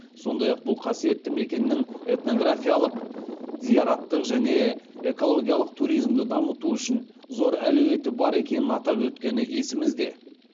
сондай ақ бұл қасиетті мекеннің этнографиялық зияраттық және экологиялық туризмді дамыту үшін зор әлеуеті бар екенін атап өткені есімізде